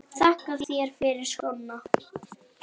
Þakka þér fyrir skóna.